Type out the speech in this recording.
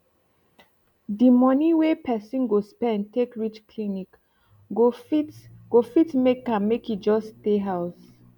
d moni wey persin go spend take reach clinic go fit go fit make am make e just stay house